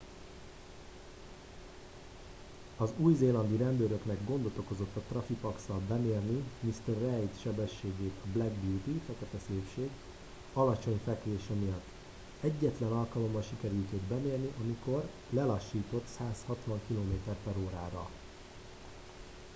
az új-zélandi rendőröknek gondot okozott traffipax-szal bemérni mr reid sebességét a black beauty fekete szépség alacsony fekvése miatt. egyetlen alkalommal sikerült őt bemérni amikor lelassított 160 km/h-ra